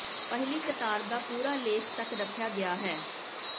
ਪਹਿਲੀ ਕਤਾਰ ਦਾ ਪੂਰਾ ਲੇਖ ਤੱਕ ਰੱਖਿਆ ਗਿਆ ਹੈ